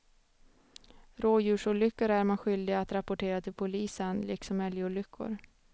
Rådjursolyckor är man skyldig att rapportera till polisen liksom älgolyckor.